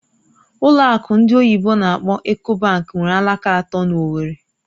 Ụlọ akụ ndị oyibo n'akpọ "Eco bank" nwere alaka atọ na Owerri